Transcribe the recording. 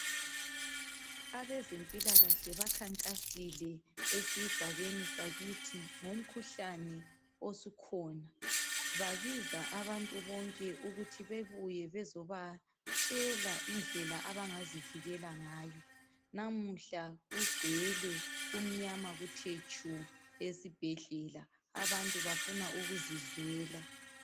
Abezempilakahle bakhankasile esigabeni sakithi ngomkhuhlane osukhona. Babiza abantu bonke kuthi babuye bazobatshela indlela abangazivikela ngayo. Namuhla kugcwele kumnyamakuthe tshu esibhedlela abantu bafuna ukuzizwela.